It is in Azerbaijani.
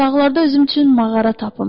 Dağlarda özüm üçün mağara tapım.